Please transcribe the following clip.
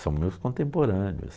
São meus contemporâneos.